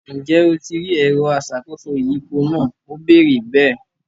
Ǹjẹ́ o ti rí “ẹ̀rọ aṣàkóso ìyípo” náà, Ó béèrè bẹ́ẹ̀?